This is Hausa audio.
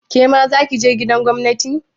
Kema zaki je gidan gwamnati?